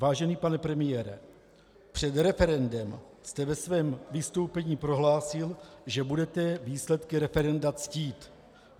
Vážený pane premiére, před referendem jste ve svém vystoupení prohlásil, že budete výsledky referenda ctít.